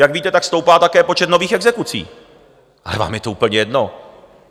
Jak víte, tak stoupá také počet nových exekucí, ale vám je to úplně jedno.